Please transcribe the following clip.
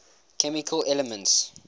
chemical elements